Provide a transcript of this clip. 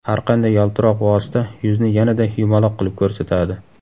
Har qanday yaltiroq vosita yuzni yanada yumaloq qilib ko‘rsatadi.